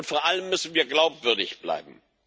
Vor allem müssen wir glaubwürdig bleiben.